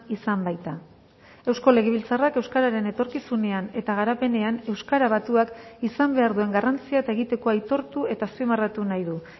izan baita eusko legebiltzarrak euskararen etorkizunean eta garapenean euskara batuak izan behar duen garrantzia eta egitekoa aitortu eta azpimarratu nahi du